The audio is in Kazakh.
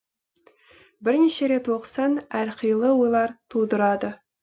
бірнеше рет оқысаң әр қилы ойлар тудырады